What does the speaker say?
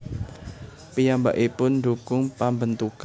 Piyambakipun ndhukung pambentukan